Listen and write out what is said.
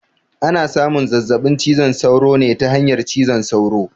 Ana samun zazzaɓin cizon sauro ne ta hanyar cizon sauro